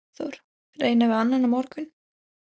Hafþór: Reyna við annan á morgun?